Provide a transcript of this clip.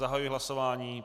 Zahajuji hlasování.